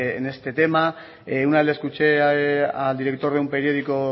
en este tema una vez le escuché al director de un periódico